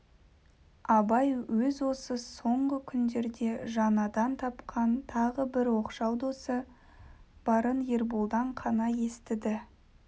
абай өз осы соңғы күндерде жаңадан тапқан тағы бір оқшау досы барын ерболдан қана естіді